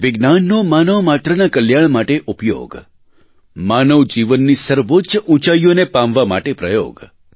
વિજ્ઞાનનો માનવમાત્રના કલ્યાણ માટે ઉપયોગ માનવ જીવનની સર્વોચ્ચ ઊંચાઇઓને પામવા માટે પ્રયોગ